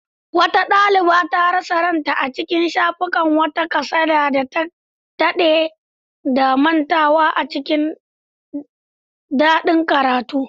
Wata daliba ta rasa kanta a cikin shafukan wata kasada da ta dade da mantawa a cikin dakin karatu.